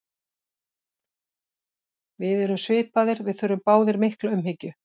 Við erum svipaðir, við þurfum báðir mikla umhyggju.